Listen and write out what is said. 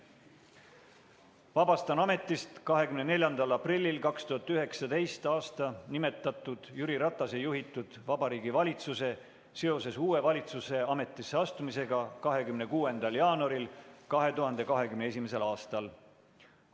Vabastan ametist 24. aprillil 2019. aastal nimetatud Jüri Ratase juhitud Vabariigi Valitsuse seoses uue valitsuse ametisse astumisega 26. jaanuaril 2021. aastal.